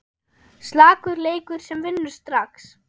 Slakur leikur sem vinnur strax!